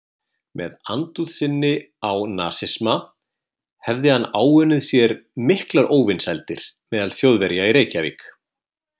Með andúð sinni á nasisma hefði hann áunnið sér miklar óvinsældir meðal Þjóðverja í Reykjavík.